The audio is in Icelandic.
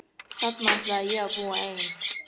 Þarna ætlaði ég að búa ein.